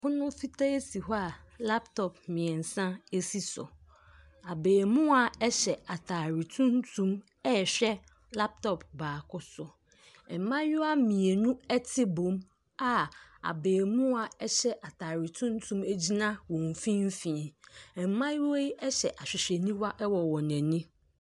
Adwadifoɔ bi retɔn nneɛma wɔ dwa bi so. Nneɛma a wɔtɔn no bi kɔkɔɔ a aber, ntoos, mako, na gyeene. Wɔde kyiniiɛ tuntum asi wɔ so. Ɛdan tenten bi nso wɔ wɔn akyi.